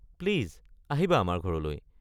Please! আহিবা আমাৰ ঘৰলৈ।